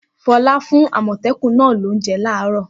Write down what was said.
Fọlá fún àmọ̀tẹ́kùn náà lóúnjẹ láàárọ̀!